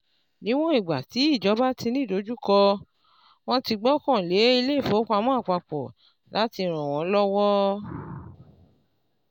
Níwọ̀n ìgbà tí ìjọba tí ní ìdojúkọ, wọ́n ti gbọ́kàn lé ilé ìfowópamọ́ àpapọ̀ láti ràn wọ́n lọ́wọ́.